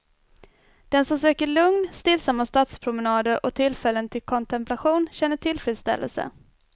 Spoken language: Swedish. Den som söker lugn, stillsamma stadspromenader och tillfällen till kontemplation känner tillfredsställelse.